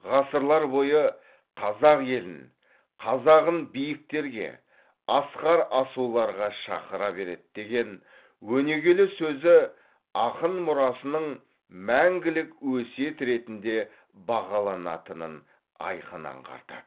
ғасырлар бойы қазақ елін қазағын биіктерге асқар асуларға шақыра береді деген өнегелі сөзі ақын мұрасының мәңгілік өсиет ретінде бағаланатынын айқын аңғартады